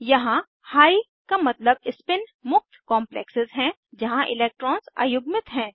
यहाँ हिघ का मतलब स्पिन मुक्त कॉम्प्लेक्सेज़ है जहाँ इलेक्ट्रॉन्स अयुग्मित हैं